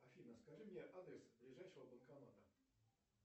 афина скажи мне адрес ближайшего банкомата